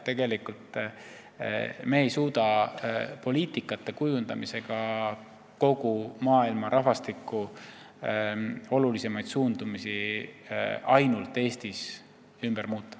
Tegelikult me ei suuda poliitika kujundamisega kogu maailma rahvastiku põhilisi suundumusi ainult Eestis ümber muuta.